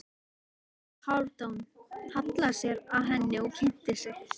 Haraldur Hálfdán hallaði sér að henni og kynnti sig.